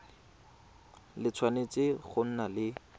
le tshwanetse go nna le